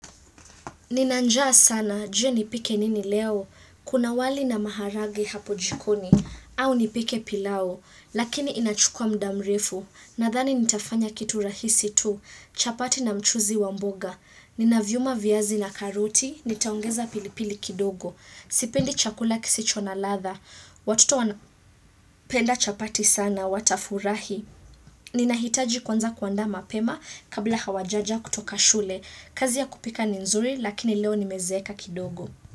Nina njaa sana, je nipike nini leo, kuna wali na maharagwe hapo jikoni, au nipike pilau, lakini inachukuwa muda mrefu, nadhani nitafanya kitu rahisi tu, chapati na mchuuzi wa mboga, ninaviuma viazi na karoti, nitaongeza pilipili kidogo, sipendi chakula kisicho na ladha, watoto wana penda chapati sana, watafurahi. Ninahitaji kuanza kuandaa mapema kabla hawajaja kutoka shule. Kazi ya kupika ni nzuri lakini leo nimezeeka kidogo.